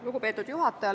Lugupeetud juhataja!